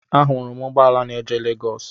Ahụrụ m ụgbọala na-eje Legọs.